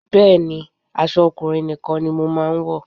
Bẹ́ẹ̀ni, aṣọ ọkùnrin nìkan ni mo máa ń wọ̀